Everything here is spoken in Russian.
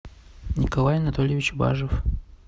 николай анатольевич бажев